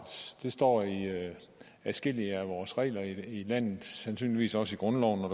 det står i adskillige af vores regler i landet sandsynligvis også i grundloven når